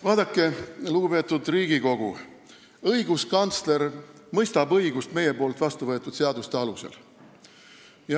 Vaadake, lugupeetud Riigikogu, õiguskantsler mõistab õigust meie vastuvõetud seaduste alusel.